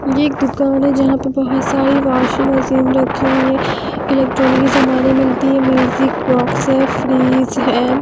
ये एक दुकान है जहाँ पर बहुत सारी वाशिंग मशीन रखी हुई है इलेक्ट्रॉनिक की सामानें मिलती है म्यूजिक बॉक्स है फ्रिज है।